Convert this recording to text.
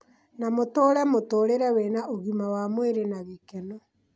na matũũre mũtũũrĩre wĩna ũgima wa mwĩrĩ na gĩkeno